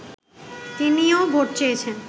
তিনিও ভোট চেয়েছেন